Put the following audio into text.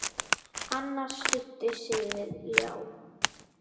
Annar studdi sig við ljá.